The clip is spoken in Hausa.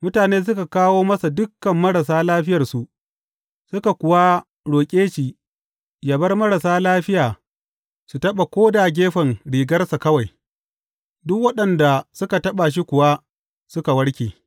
Mutane suka kawo masa dukan marasa lafiyarsu suka kuwa roƙe shi yă bar marasa lafiya su taɓa ko da gefen rigarsa kawai, duk waɗanda suka taɓa shi kuwa suka warke.